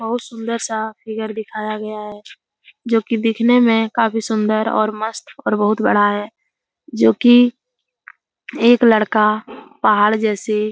बहुत सुंदर-सा फिगर दिखाया गया है जो की देखने में काफी सुंदर और मस्त और बहुत बड़ा है जो कि एक लड़का पहाड़ जैसे --